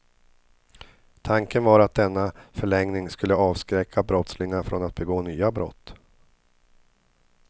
Tanken var att denna förlängning skulle avskräcka brottslingar från att begå nya brott.